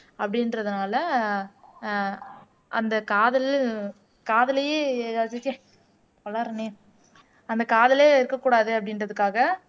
அப்படின்றதுனால ஆஹ் அந்த காதல் அந்த காதலே இருக்க கூடாது அப்படின்றதுக்காக